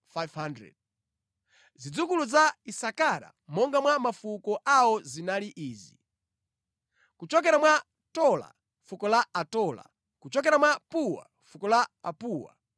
Zidzukulu za Isakara monga mwa mafuko awo zinali izi: kuchokera mwa Tola, fuko la Atola; kuchokera mwa Puwa, fuko la Apuwa;